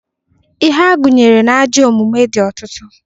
Ihe a gụnyere n'ajọ omume dị ọtụtụ.